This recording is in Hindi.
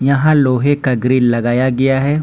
यहां लोहे का ग्रिल लगाया गया है।